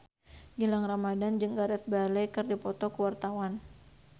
Gilang Ramadan jeung Gareth Bale keur dipoto ku wartawan